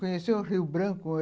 Conheceu o Rio Branco.